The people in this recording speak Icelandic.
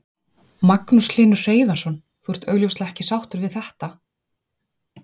Magnús Hlynur Hreiðarsson: Þú ert augljóslega ekki sáttur við þetta?